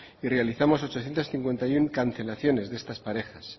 y realizamos ochocientos cincuenta y uno cancelaciones de estas parejas